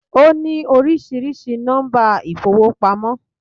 Ó ní oríṣiríṣi nọ́mbà ìfowópamọ́